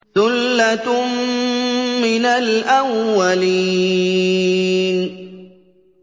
ثُلَّةٌ مِّنَ الْأَوَّلِينَ